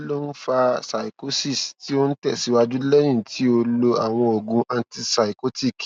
kí ló ń fa psychosis tí ó ń tẹsíwájú lẹyìn tí ó lo àwọn oògùn antipsychotic